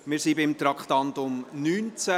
Wir sind beim Traktandum 19 verblieben.